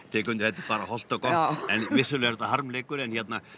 tek undir þetta bara hollt og gott en vissulega er þetta harmleikur en